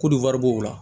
Ko nin wari b'o la